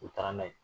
U taara n'a ye